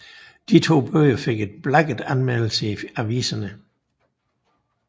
De to bøger fik en blakket anmeldelse i aviserne